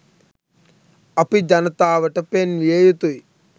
අපි ජනතාවට පෙන්විය යුතුයි.